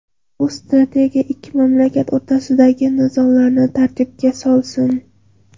Bu strategiya esa ikki mamlakat o‘rtasidagi nizolarni tartibga solsin.